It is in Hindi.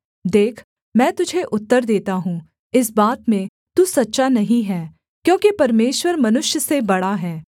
देख मैं तुझे उत्तर देता हूँ इस बात में तू सच्चा नहीं है क्योंकि परमेश्वर मनुष्य से बड़ा है